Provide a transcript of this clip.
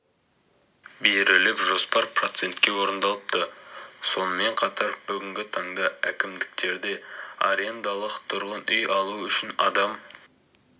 беріліп жоспар процентке орындалыпты сонымен қатар бүгінгі таңда әкімдіктерде арендалық тұрғын үй алу үшін адам